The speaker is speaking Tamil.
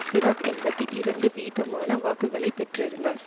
சிராக் எண்பத்தி இரண்டு வீதமான வாக்குகளை பெற்றிருந்தார்